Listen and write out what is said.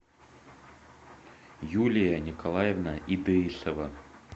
юлия николаевна итеисова